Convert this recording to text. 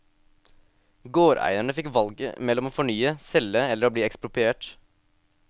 Gårdeierne fikk valget mellom å fornye, selge eller å bli ekspropriert.